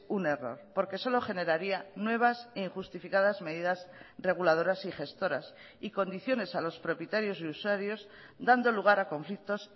un error porque solo generaría nuevas e injustificadas medidas reguladoras y gestoras y condiciones a los propietarios y usuarios dando lugar a conflictos